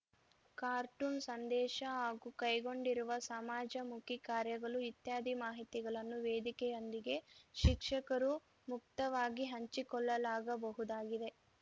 cartoon ಸಂದೇಶ ಹಾಗೂ ಕೈಗೊಂಡಿರುವ ಸಮಾಜಮುಖಿ ಕಾರ್ಯಗಳು ಇತ್ಯಾದಿ ಮಾಹಿತಿಗಳನ್ನು ವೇದಿಕೆಯೊಂದಿಗೆ ಶಿಕ್ಷಕರು ಮುಕ್ತವಾಗಿ ಹಂಚಿಕೊಳ್ಳಲಾಗಬಹುದಾಗಿದೆ